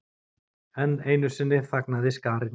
Enn einu sinni þagnaði skarinn.